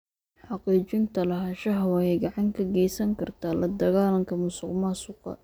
Xaqiijinta lahaanshaha waxay gacan ka geysan kartaa la dagaallanka musuqmaasuqa.